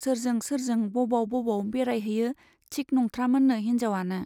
सोरजों सोरजों बबाव बबाव बेराय हैयो थिक नंथ्रामोननो हिन्जावआनो।